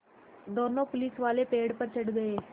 दोनों पुलिसवाले पेड़ पर चढ़ गए